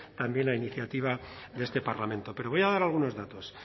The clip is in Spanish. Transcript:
también a iniciativa de este parlamento pero voy a dar algunos datos